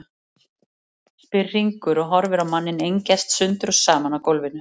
spyr Hringur og horfir á manninn engjast sundur og saman á gólfinu.